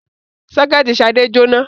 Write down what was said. Sọ́kẹ́tì Ṣadé jóná.